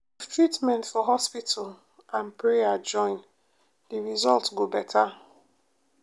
if treatment for hospital and prayer join de result go beta.